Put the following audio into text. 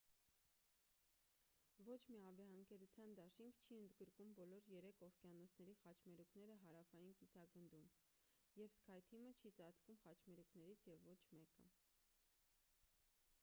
ոչ մի ավիաընկերության դաշինք չի ընդգրկում բոլոր երեք օվկիանոսների խաչմերուկները հարավային կիսագնդում և սքայ թիմը չի ծածկում խաչմերուկներից և ոչ մեկը: